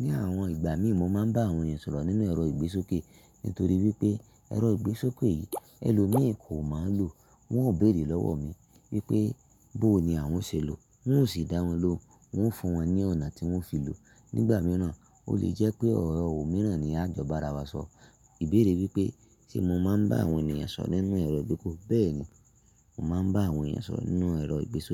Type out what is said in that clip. ní àwọn ìgbà mí ì mọ máa ń bá àwọn èeyan sọ̀rọ̀ nínú ẹ̀rọ ìgbésókè. Nítorí wípé ẹ̀rọ ìgbésókè yìí, ẹlòmíi kò máa ń lò, wón ó bèèrè lọ́wọ́ mi wípé, bó ni àwọn ṣe lò ó, n ó sì dá wọn lóhun, mo ń fún wọn ní ọ̀nà tí wón fi lò. Ní ìgbà mìíràn o lè jẹ́ pé ọ̀rọ̀ omìíràn ni a jọ bá ara wa sọ. Ìbéèrè wípé, ṣe mo máa ń bá àwọn ènìyàn sọ̀rọ̀ nínú ẹ̀rọ ìgbésókè? Bẹ́ẹ̀ni, mo máa ń bá àwọn ènìyàn sọ̀rọ̀ nínú ẹ̀rọ ìgbésókè.